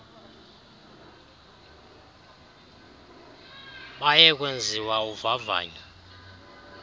baye kwenziwa uvavanyo